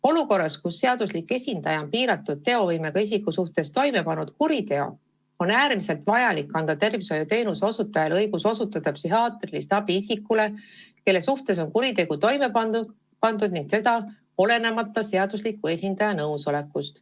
Olukorras, kus seaduslik esindaja on piiratud teovõimega isiku suhtes toime pannud kuriteo, on äärmiselt vajalik anda tervishoiuteenuse osutajale õigus osutada psühhiaatrilist abi isikule, kelle suhtes on kuritegu toime pandud, ning seda olenemata seadusliku esindaja nõusolekust.